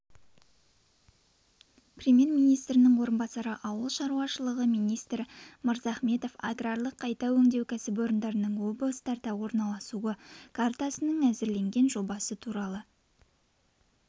премьер-министрінің орынбасары ауыл шаруашылығы министрі мырзахметов аграрлық қайта өңдеу кәсіпорындарының облыстарда орналасуы картасының әзірленген жобасы туралы